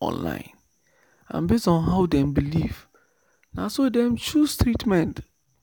online and based on how dem believe na so dem dey choose treatment."